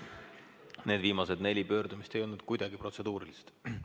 Need viimased neli pöördumist ei olnud kuidagi protseduurilised.